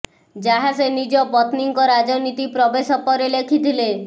ଯାହା ସେ ନିଜ ପତ୍ନୀଙ୍କ ରାଜନୀତି ପ୍ରବେଶ ପରେ ଲେଖିଥିଲେ